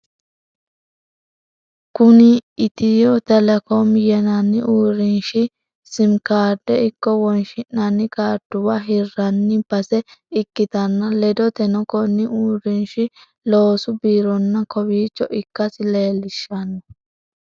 Kuni etiyo telecom yinanni uurinshi sim karde ikko wonshi'nanni kaarduwa hirranni base ikkitanna, ledoteno konni uurinshi loosu birrono kowicho ikkasi leellishanno.